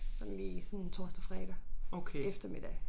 Sådan lige sådan torsdag fredag eftermiddag